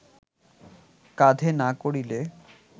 কাঁধে না করিলে